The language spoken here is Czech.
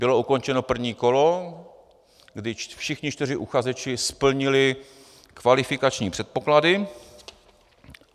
Bylo ukončeno první kolo, kdy všichni čtyři uchazeči splnili kvalifikační předpoklady.